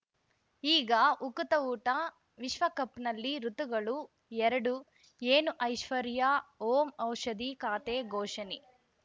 ಈಗ ಉಕುತ ಊಟ ವಿಶ್ವಕಪ್‌ನಲ್ಲಿ ಋತುಗಳು ಎರಡು ಏನು ಐಶ್ವರ್ಯಾ ಓಂ ಔಷಧಿ ಖಾತೆ ಘೋಷಣೆ